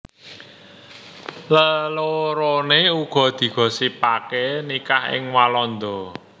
Leloroné uga digosipaké nikah ing Walanda